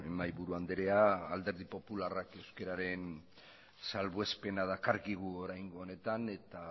mahaiburu andrea alderdi popularrak euskararen salbuespena dakarkigu oraingo honetan eta